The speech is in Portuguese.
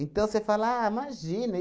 você fala... Ah, imagina.